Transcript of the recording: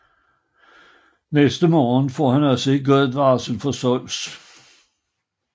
Næste morgen får han også et godt varsel fra Zeus